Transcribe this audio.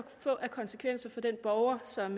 få af konsekvenser for den borger som